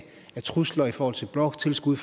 trusler i forhold til bloktilskud